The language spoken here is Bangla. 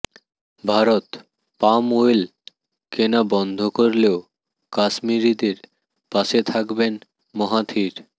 ভারত পাম ওয়েল কেনা বন্ধ করলেও কাশ্মিরিদের পাশে থাকবেন মাহাথির